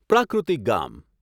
પ્રાકૃતિક ગામ